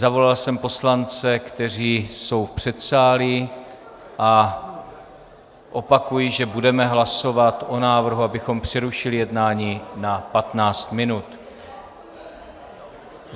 Zavolal jsem poslance, kteří jsou v předsálí, a opakuji, že budeme hlasovat o návrhu, abychom přerušili jednání na 15 minut.